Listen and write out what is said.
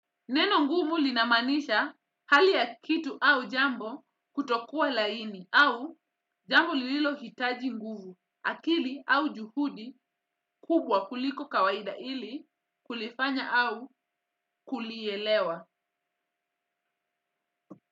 Neno ngumu linamaanisha hali ya kitu au jambo kutokuwa laini au jambo lililo hitaji nguvu akili au juhudi kubwa kuliko kawaida ili kulifanya au kulielewa.